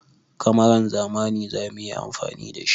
Kamaran zamani za mu yi amfani da shi.